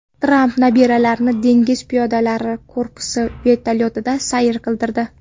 Tramp nabiralarini dengiz piyodalari korpusi vertolyotida sayr qildirdi.